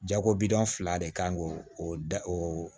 Jago bi dɔ fila de kan k'o o da o